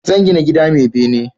Zan gina gida mai bene